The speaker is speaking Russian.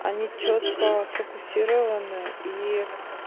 они чётко сфокусированы и